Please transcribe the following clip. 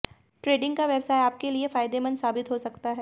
trading का व्यवसाय आपके लिए फायदेमंद साबित हो सकता है